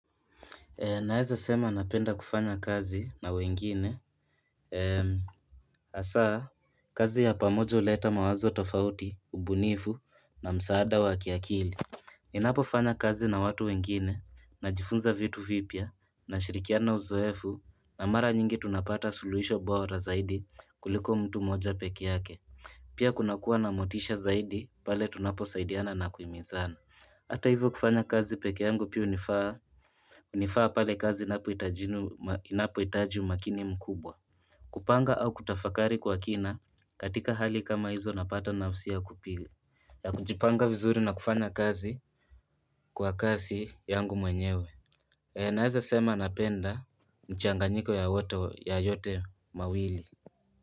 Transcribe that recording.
Naeza sema napenda kufanya kazi na wengine hasa kazi ya pamoja huleta mawazo tofauti, ubunifu na msaada wa kiakili. Ninapofanya kazi na watu wengine najifunza vitu vipya nashirikiana uzoefu na mara nyingi tunapata suluhisho bora zaidi kuliko mtu moja peki yake. Pia kunakuwa na motisha zaidi pale tunaposaidiana na kuimizana. Hata hivyo kufanya kazi peke yangu pia unifaa pale kazi inapoitaji umakini mkubwa. Kupanga au kutafakari kwa kina katika hali kama hizo napata nafusi ya kupili. Ya kunjipanga vizuri na kufanya kazi kwa kazi yangu mwenyewe. E naeza sema napenda mchanganyiko ya yote mawili.